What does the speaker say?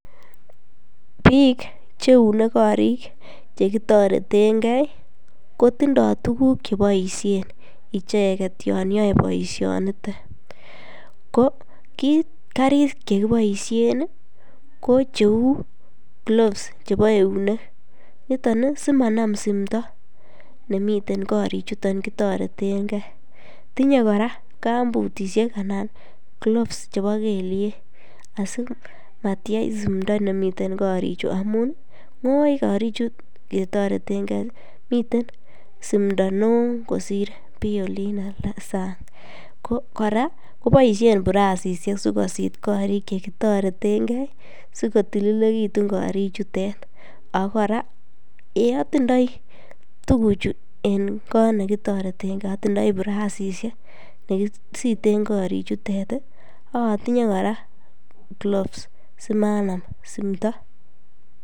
Bik cheune korik chekitoretengee kotindo tukuk cheboishen icheket en kasinitet ko kit karik chekiboishen nii ko cheu gloves chebo eunek niton nii simanam miondo nemiten korik chuton kotoretengee, tinye Koraa kambutishek ana gloves chebo kelyek asimatyech simdo nemiten korik chuu amun, ngoi korik chuu kotoreten gee miten simdo neo kosir nii olin anan sang . Ko Koraa koboishen burasishek sikosit korik chekitoretengee sikoyulilekitun korik chutet aKo Koraa en itindoi tukuk chuu en kot nekitoretengee, otindoi burasishek chekisiten korik chutet tii ak otinye Koraa gloves simanam simdo.